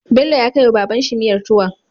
Bello ya kai wa wa babban shi miyar tuwon